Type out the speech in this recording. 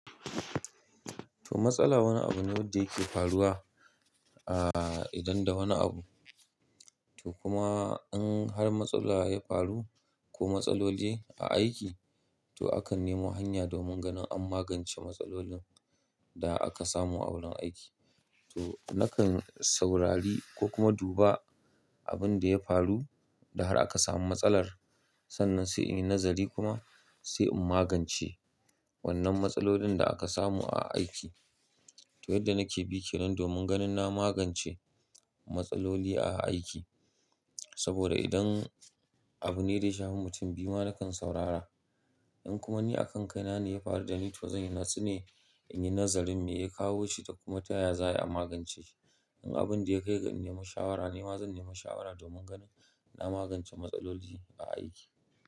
To matsala wani abu ne wanda yake faruwa, a idon da wani abu. To kuma in har matsala ya faru ko matsaloli a aiki, to akan nemo hanya domin ganin an magance matsalolin da aka samu a wurin aiki. To nakan saurari ko kuma duba abin da ya faru da har aka samu matsalar sannan sai in yi nazari kuma sai in magance wannan matsalolin da aka samu a aiki. To yadda nake bi kenan domin ganin na magance matsaloli a aiki. Saboda idan abu ne da ya shafi mutum biyu ma nakan saurara. In kuma ni a kan kai na ne ya faru da ni to zan yi natsu ne in yi nazarin me ya kawo shi da kuma taya za a magance shi. In abin da ya kai ga in nemo shawara ne ma zan nemo shawara domin ganin na magance matsaloli a aiki.